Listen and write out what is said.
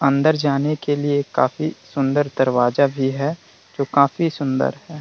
अंदर जाने के लिए काफी सुंदर दरवाजा भी है जो काफी सुंदर है ।